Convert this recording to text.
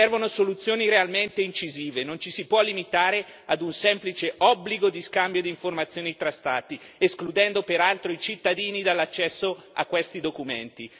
Servono soluzioni realmente incisive, non ci si può limitare ad un semplice obbligo di scambio di informazioni tra Stati, escludendo peraltro i cittadini dall'accesso a questi documenti.